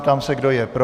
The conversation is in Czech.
Ptám se, kdo je pro.